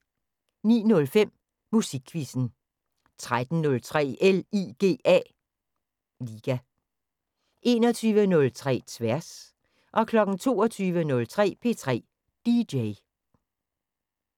09:05: Musikquizzen 13:03: LIGA 21:03: Tværs 22:03: P3 DJ